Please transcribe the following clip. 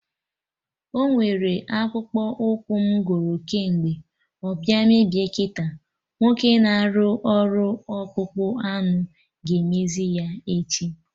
Ọnwere akpụkpọ ụkwụ m goro kemgbe, ọ bịa mebie kịta, nwoke na-arụ ọrụ ọkpụkpụ anụ ga-emezi ya echi